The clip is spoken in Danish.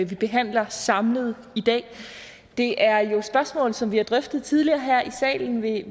behandler samlet i dag det er jo spørgsmål som vi har drøftet tidligere her i salen ved